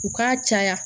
U k'a caya